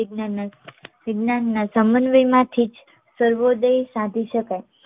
વિજ્ઞાનના સમન્વયમાંથીજ સર્વોદય સાધી શકાય